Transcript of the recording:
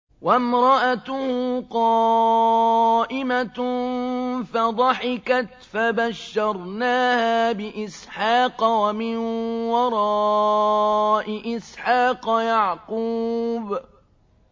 وَامْرَأَتُهُ قَائِمَةٌ فَضَحِكَتْ فَبَشَّرْنَاهَا بِإِسْحَاقَ وَمِن وَرَاءِ إِسْحَاقَ يَعْقُوبَ